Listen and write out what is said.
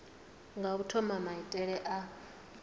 nga u thoma maitele a